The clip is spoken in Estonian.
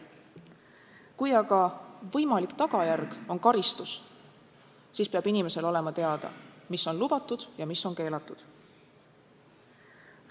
Kui aga võimalik tagajärg on karistus, siis peab inimesele olema teada, mis on lubatud ja mis on keelatud.